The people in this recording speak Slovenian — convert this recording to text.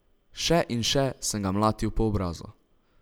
Še in še sem ga mlatil po obrazu.